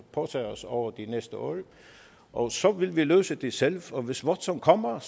påtage os over de næste år og så vil vi løse det selv og hvis watson kommer